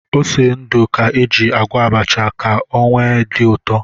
Ose ndụ ka éjị agwọ abacha ka o wee dị ụtọ